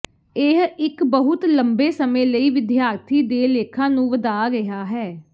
ਇਹ ਇੱਕ ਬਹੁਤ ਲੰਬੇ ਸਮੇਂ ਲਈ ਵਿਦਿਆਰਥੀ ਦੇ ਲੇਖਾਂ ਨੂੰ ਵਧਾ ਰਿਹਾ ਹੈ